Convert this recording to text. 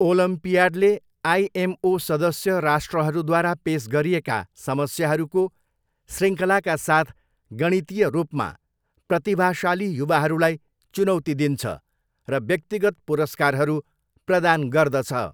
ओलम्पियाडले IMO सदस्य राष्ट्रहरूद्वारा पेस गरिएका समस्याहरूको शृङ्खलाका साथ गणितीय रूपमा प्रतिभाशाली युवाहरूलाई चुनौती दिन्छ, र व्यक्तिगत पुरस्कारहरू प्रदान गर्दछ।